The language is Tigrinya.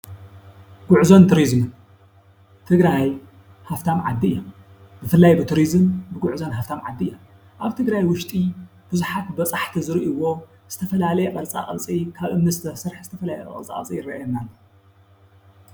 ጉዕዞን ቱሪዙምን ትግራይ ሃፍታም ዓዲ እያ። ብፍላይ ብቱሪዝም ጉዕዞን ሃፍታም ዓዲ እያ። ኣብ ትግራይ ውሽጢ ቡዝሓት በፃሕቲ ዝርእይዎ ዝተፈላለየ ቅርፃ ቅርፂ ካብ እምኒ ዝተሰርሐ ዝተፈላለየ ቅርፃ ቅርፂ ይረኣየና ኣሎ።